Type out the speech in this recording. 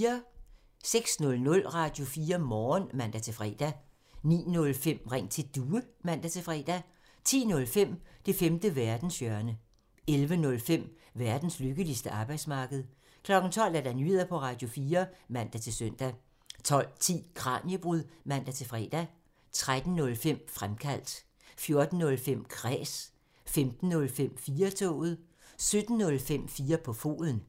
06:00: Radio4 Morgen (man-fre) 09:05: Ring til Due (man-fre) 10:05: Det femte verdenshjørne (man) 11:05: Verdens lykkeligste arbejdsmarked (man) 12:00: Nyheder på Radio4 (man-søn) 12:10: Kraniebrud (man-fre) 13:05: Fremkaldt (man) 14:05: Kræs (man-fre) 15:05: 4-toget (man-fre) 17:05: 4 på foden (man)